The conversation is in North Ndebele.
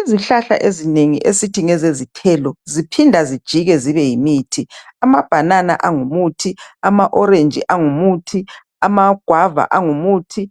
Izihlahla ezinengi esithi ngezezithelo ziphinda zijike zibe yimithi amabhanana angumuthi, ama orange angumuthi, amaguava angumuthi